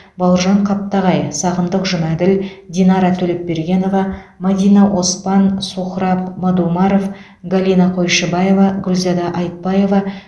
бауыржан қаптағай сағындық жұмаділ динара төлепбергенова мәдина оспан сухраб мадумаров галина қойшыбаева гүлзада айтбаева